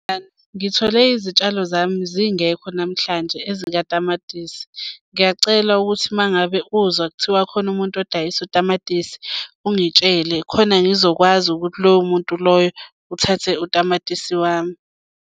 Ngithole izitshalo zami zingekho namhlanje ezikatamatisi. Ngiyacela ukuthi uma ngabe uzwa kuthiwa khona umuntu odayisa utamatisi ungitshele khona ngizokwazi ukuthi lowo muntu loyo uthathe utamatisi wami.